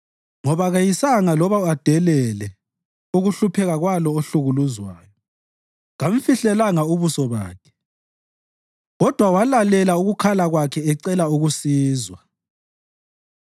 Ngoba keyisanga loba adelele ukuhlupheka kwalowo ohlukuluzwayo; kamfihlelanga ubuso bakhe kodwa walalela ukukhala kwakhe ecela ukusizwa.